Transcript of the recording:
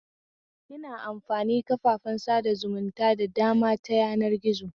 Ina amfani kafafen sada zumunta da dama ta yanar gizo